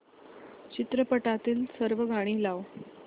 चित्रपटातील सर्व गाणी लाव